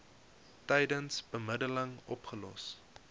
tydens bemiddeling opgelos